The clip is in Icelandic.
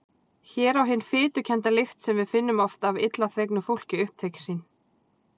Hér á hin fitukennda lykt sem við finnum oft af illa þvegnu fólki upptök sín!